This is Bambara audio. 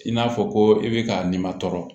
I n'a fɔ ko i bɛ ka nin ma tɔɔrɔ